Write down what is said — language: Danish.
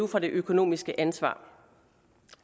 fra det økonomiske ansvar